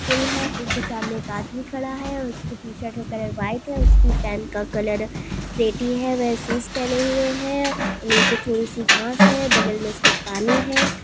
फूल है फूलों के सामने एक आदमी खड़ा है उसके शर्ट का कलर व्हाइट है उसकी पेंट का कलर स्लेटी है महसूस पहने हुए हैं नीचे थोड़ी सी घास है बगल में उसके पानी है